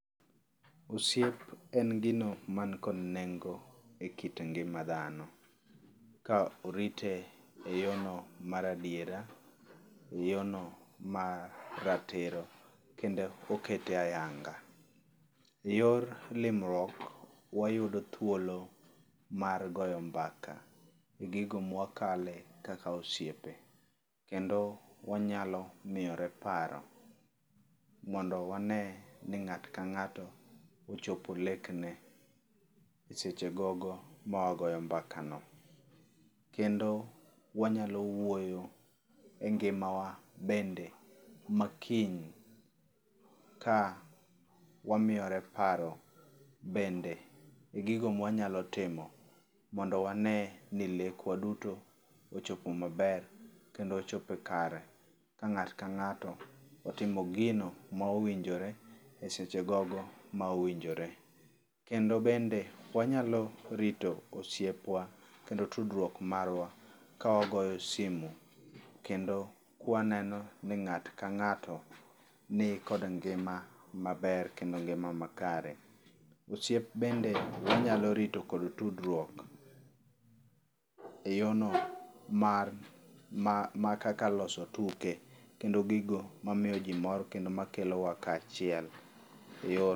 Osiep en gino man kod nengo e kit ngima dhano. Ka orite e yono mar adiera, e yo no ma ratiro kendo okete ayanga. E yor limruok wayudo thuolo mar goyo mbaka egigo ma wakale kaka osiepe kendo wanyalo miyore paro mondo wane ni ng'ato ka ng'ato ochopo lek ne e seche gogo ma wagoyo mbaka no. Kendo wanyalo wuoyo e ngima wa bende makiny ka wamiyore paro bende e gigo ma wanyalo timo mondo wane ni lek wa duto ochopo maber kendo ochopo kare ka ng'ato ka ng'ato otimo gigo mowinjore e seche gogo mowinjore. Kendo bende wanyalo rito osiep wa kendo tudruok marwa ka wagoyo simu kendo ka waneno ni ng'ato ka ng'ato ni kod ngima maber kendo ngima makare. Osiep bende wanyalo rito kod tudruok e yo no mar kaka loso tuke kendo gigo mamiyo ji mor kendo ma kelowa kachiel e yor..